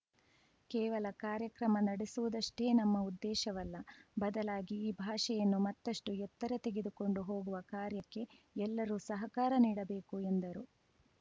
ಕೇವಲ ಕಾರ್ಯಕ್ರಮ ನಡೆಸುವುದಷ್ಟೇ ನಮ್ಮ ಉದ್ದೇಶವಲ್ಲ ಬದಲಾಗಿ ಈ ಭಾಷೆಯನ್ನು ಮತ್ತಷ್ಟುಎತ್ತರ ತೆಗೆದುಕೊಂಡು ಹೋಗುವ ಕಾರ್ಯಕ್ಕೆ ಎಲ್ಲರೂ ಸಹಕಾರ ನೀಡಬೇಕು ಎಂದರು